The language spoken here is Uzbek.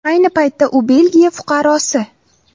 Ayni paytda u Belgiya fuqarosi.